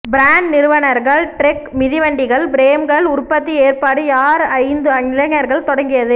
brand நிறுவனர்கள் Trek மிதிவண்டிகள் பிரேம்கள் உற்பத்தி ஏற்பாடு யார் ஐந்து இளைஞர்கள் தொடங்கியது